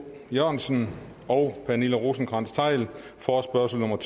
jørgensen og pernille rosenkrantz theil forespørgsel nummer